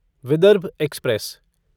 Vidarbha express